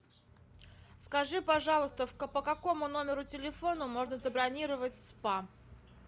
скажи пожалуйста по какому номеру телефона можно забронировать спа